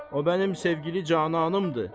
O mənim sevgili cananımdır.